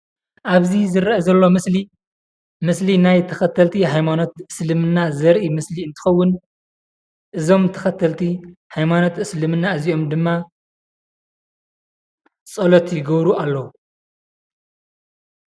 አብዚ ዝረአ ዘሎ ምስሊ ምስሊ ናይ ተከተልቲ ናይ ሃይማኖት እስልምና ዘርኢ ምስሊ እንትኸውን እዞም ተከተልቲ ሃይማኖት እስልምና እዚአም ድማ ፀሎት ይገብሩ አለው።